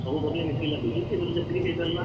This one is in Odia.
ସବୁ ପରିବା ମିଶିକି ଲାଗୁଛି, ସେଥିରୁ ଯେତିକି ହେଇ ପାରିଲା!